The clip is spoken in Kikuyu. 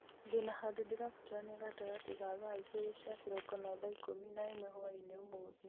ndĩna handũ ndĩrabatarania gatagatĩ ga thaa igĩrĩ cia kĩroko na thaa ikũmi na ĩmwe hwaĩ-inĩ ũmũthĩ